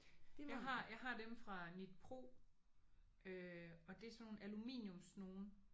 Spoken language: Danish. Jeg har jeg har dem fra Knitpro øh og det er sådan nogle aluminiumsnogen